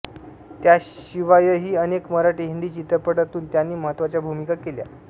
त्याशिवायही अनेक मराठी हिंदी चित्रपटांतून त्यांनी महत्त्वाच्या भूमिका केल्या